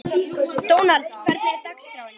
Dónald, hvernig er dagskráin?